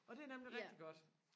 og det er nemlig rigtig godt